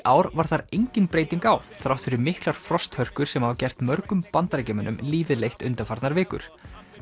ár var þar engin breyting á þrátt fyrir miklar frosthörkur sem hafa gert mörgum Bandaríkjamönnum lífið leitt undanfarnar vikur